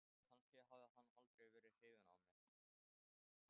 Kannski hafði hann aldrei verið hrifinn af mér.